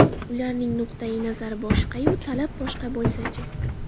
Ularning nuqtai nazari boshqa-yu, talab boshqa bo‘lsa-chi?